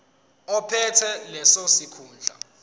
ophethe leso sikhundla